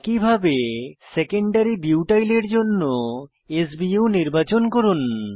একইভাবে secondary butyl এর জন্য s বিইউ নির্বাচন করুন